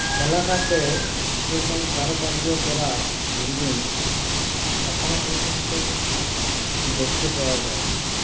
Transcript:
এলাকাতে এরকম কারুকার্য করা building এখনও পর্যন্ত দেখতে পাওয়া যায়নি